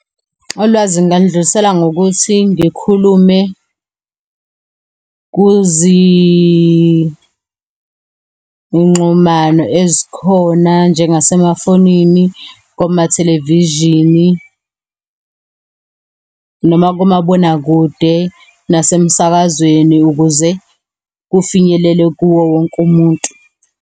Ulwazi ngingalidlulisela ngokuthi ngikhulume kuzi ngxumano ezikhona njengase mafonini, komathelevishini noma komabonakude, nasemsakazweni ukuze kufinyelele kuwo wonke umuntu.